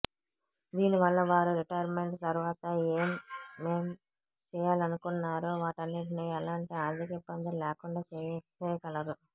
దీని వల్ల వారు రిటైర్మెంట్ తర్వాత ఏమేం చేయాలనుకున్నారో వాటన్నిటినీ ఎలాంటి ఆర్థిక ఇబ్బందులు లేకుండా చేసేయగలరు